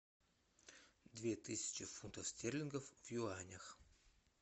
две тысячи фунтов стерлингов в юанях